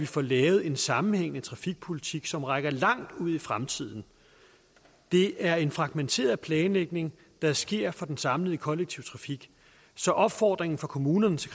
få lavet en sammenhængende trafikpolitik som rækker langt ud i fremtiden det er en fragmenteret planlægning der sker for den samlede kollektive trafik så opfordringen fra kommunerne til